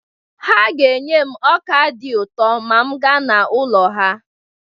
Ha ga-enye m ọ́kà dị ụtọ ma m gaa n'ụlọ ha.